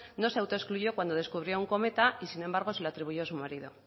no se autoexcluyó cuando descubrió un cometa y sin embargo se lo atribuyó a su marido